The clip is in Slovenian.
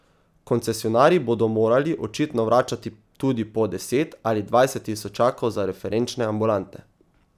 Koncesionarji bodo morali očitno vračati tudi po deset ali dvajset tisočakov za referenčne ambulante.